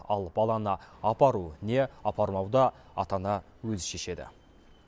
ал баланы апару не апармауды ата ана өзі шешеді